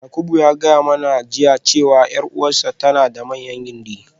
Yakubu ya gaya mana jiya cewa 'yar uwarta tana da manyan gindi.